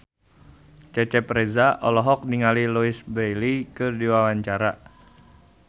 Cecep Reza olohok ningali Louise Brealey keur diwawancara